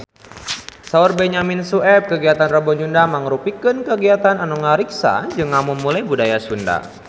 Saur Benyamin Sueb kagiatan Rebo Nyunda mangrupikeun kagiatan anu ngariksa jeung ngamumule budaya Sunda